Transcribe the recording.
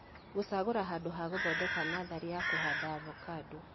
Gũcagũra handũ ha guthondeka natharĩ ya kũhanda avocado